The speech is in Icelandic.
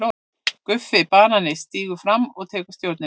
GUFFI BANANI stígur fram og tekur stjórnina.